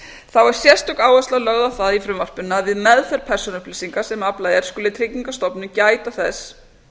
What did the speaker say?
þá er sérstök áhersla lögð á það í frumvarpinu að við meðferð persónuupplýsinga sem aflað er skuli tryggingastofnun gæta þess